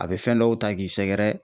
A bi fɛn dɔw ta k'i sɛgɛrɛ